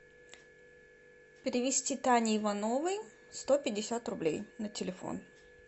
перевести тане ивановой сто пятьдесят рублей на телефон